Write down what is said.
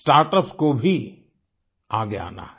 Startups कोभी आगे आना है